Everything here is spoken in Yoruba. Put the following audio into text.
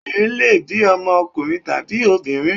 Obìnrin lè bí ọmọ ọkùnrin tàbí obìnrin.